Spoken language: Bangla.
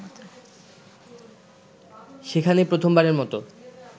সেখানে প্রথমবারের মতো